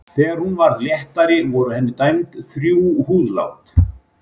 Þegar hún varð léttari voru henni dæmd þrjú húðlát.